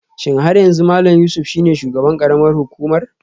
Shin har yanzu Malam Yusuf shine shugaban karamar hukumar?